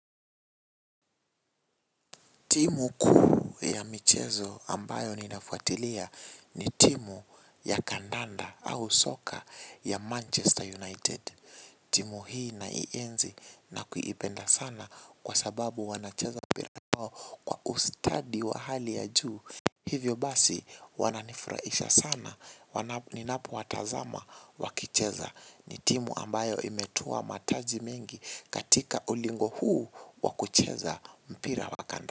Timu kuu ya michezo ambayo ninafuatilia ni timu ya kandanda au soka ya Manchester United. Timu hii naienzi nakuipenda sana kwa sababu wanacheza mpira wao kwa ustadi wa hali ya juu. Hivyo basi wananifurahisha sana ninapowatazama wakicheza ni timu ambayo imetua mataji mingi katika ulingo huu wa kucheza mpira wa kandanda.